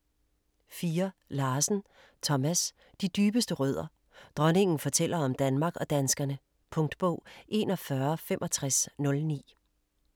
4. Larsen, Thomas: De dybeste rødder: dronningen fortæller om Danmark og danskerne Punktbog 416509